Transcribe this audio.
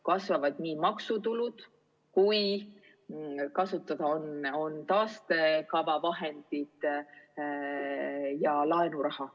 Kasvavad maksutulud ja kasutada on ka taastekava vahendid ja laenuraha.